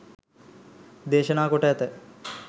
දේශනා කොට ඇත.